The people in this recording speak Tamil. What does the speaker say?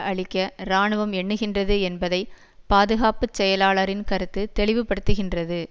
அழிக்க இராணுவம் எண்ணுகின்றது என்பதை பாதுகாப்பு செயலாளரின் கருத்து தெளிவுபடுத்துகின்றது